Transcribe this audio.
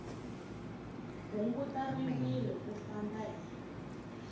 hunguta rivilo u famba hi